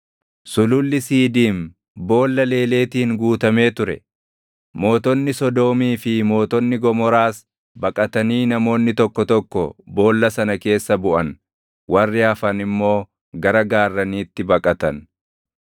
Sululli Siidiim boolla leeleetiin guutamee ture; mootonni Sodoomii fi mootonni Gomoraas baqatanii namoonni tokko tokko boolla sana keessa buʼan; warri hafan immoo gara gaarraniitti baqatan.